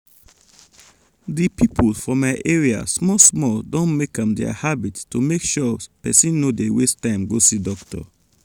di people for my area small small don make am their habit to make sure pesin no dey waste time go see doctor.